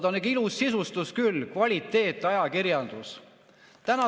On ikka ilus küll: kvaliteetajakirjandus!